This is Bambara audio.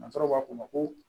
Nansaraw b'a fɔ o ma ko